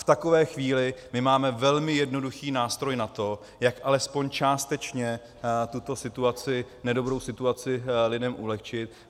V takové chvíli my máme velmi jednoduchý nástroj na to, jak alespoň částečně tuto situaci - nedobrou situaci - lidem ulehčit.